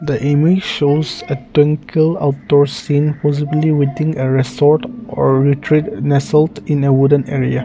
the image shows twinkle outdoor scene possibly within a resort or retreat in a south in a wooden area.